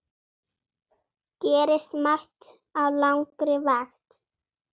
Gerist margt á langri vakt.